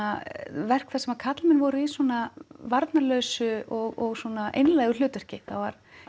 verk þar sem karlmenn voru í svona varnarlausu og einlægu hlutverki það var